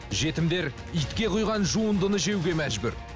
жетімдер итке құйған жуындыны жеуге мәжбүр